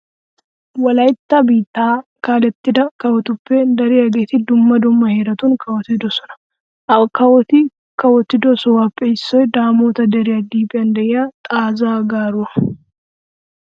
Wolaytta biittaa kaalettida kawotuppe dariyageeti dumma dumma heeratun kawotidosona. Ha kawoti kawotido sohuwappe issoy daamoota deriya liiphiyan de'iya xaazaa garuwa.